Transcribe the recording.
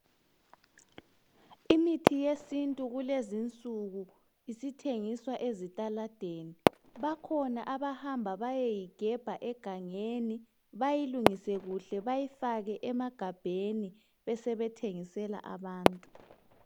Imithi yesintu kulezinsuku isithengiswa ezitaladeni. Bakhona abahamba bayeyigebha egangeni, bayilungise kuhle, bayifake emagabheni, besebethengisela abantu.